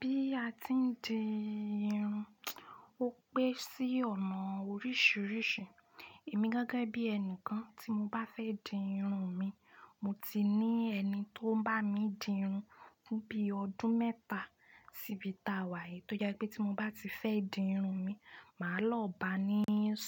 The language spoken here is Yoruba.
Bí a ti ń di irun, ó pé sí ọ̀nà oríṣiríṣi. Èmi gẹ́gẹ́ bí ẹni kan tí mo bá fẹ́ di irun mi, mo ti ní ẹni tó ń bá mi di irun fún bí ọdún mẹ́ta síbi tàwà yìí, tó jẹ́ pé tí mo bá ti fẹ́ di irun mi, màá lọ bá ní